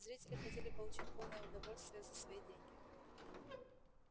зрители хотели получить полное удовольствие за свои деньги